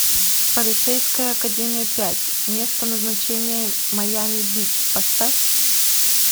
полицейская академия пять место назначения майами бич поставь